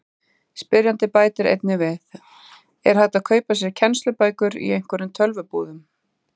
Spyrjandi bætir einnig við: Er hægt að kaupa sér kennslubækur í einhverjum tölvubúðum?